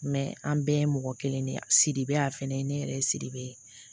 an bɛɛ ye mɔgɔ kelen de ye sidibe a fɛnɛ ne yɛrɛ ye sidibe